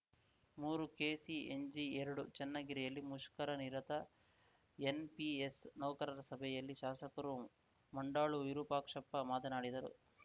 ಮೂರುಕೆಸಿಎನ್ಜಿಎರಡು ಚನ್ನಗಿರಿಯಲ್ಲಿ ಮುಷ್ಕರನಿರತ ಎನ್‌ಪಿಎಸ್‌ ನೌಕರರ ಸಭೆಯಲ್ಲಿ ಶಾಸಕರು ಮಂಡಾಳು ವಿರೂಪಾಕ್ಷಪ್ಪ ಮಾತನಾಡಿದರು